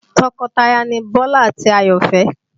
Tọkọtaya ni Bọ́lá àti Àyọ̀fẹ́